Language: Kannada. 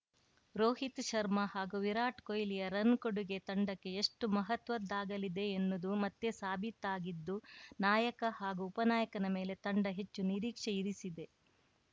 ರೋಹಿತ್‌ ಶರ್ಮಾ ಹಾಗೂ ವಿರಾಟ್‌ ಕೊಹ್ಲಿಯ ರನ್‌ ಕೊಡುಗೆ ತಂಡಕ್ಕೆ ಎಷ್ಟುಮಹತ್ವದ್ದಾಗಲಿದೆ ಎನ್ನುವುದು ಮತ್ತೆ ಸಾಬೀತಾಗಿದ್ದು ನಾಯಕ ಹಾಗೂ ಉಪನಾಯಕನ ಮೇಲೆ ತಂಡ ಹೆಚ್ಚು ನಿರೀಕ್ಷೆ ಇರಿಸಿದೆ